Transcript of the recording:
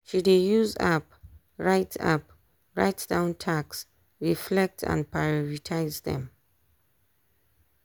she dey use app write app write down tasks reflect and prioritize am.